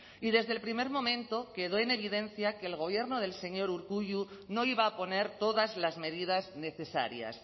y desde el primer momento quedó en evidencia que el gobierno del señor urkullu no iba a poner todas las medidas necesarias